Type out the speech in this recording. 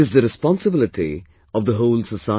It is the responsibility of the whole society